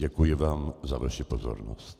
Děkuji vám za vaši pozornost.